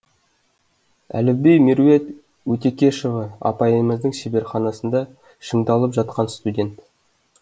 әліби меруерт өтекешова апайымыздың шеберханасында шыңдалып жатқан студент